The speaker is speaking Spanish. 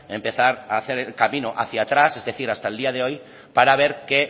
empezar a hacer el camino hacia atrás es decir hasta el día de hoy para ver qué